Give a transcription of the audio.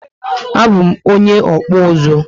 A bu m onye okpu uzu